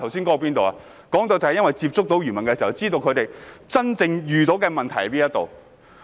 我剛才說到，因我接觸漁民，所以知道他們真正遇到的問題。